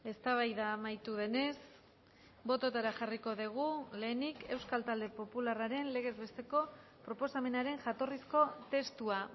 eztabaida amaitu denez bototara jarriko dugu lehenik euskal talde popularraren legez besteko proposamenaren jatorrizko testua